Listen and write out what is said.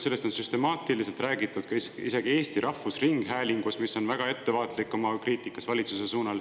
Sellest on süstemaatiliselt räägitud isegi Eesti Rahvusringhäälingus, mis on väga ettevaatlik oma kriitikas valitsuse pihta.